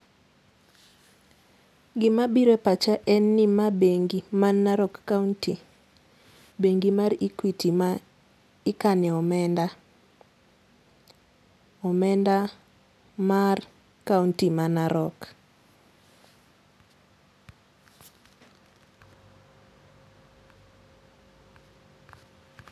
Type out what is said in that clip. Gima biro e pacha en ni ma bengi, man Narok county. Bengi mar Equity ma ikane omenda, omenda mar county ma Narok